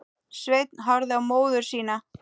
Sveinn horfði á móður sína.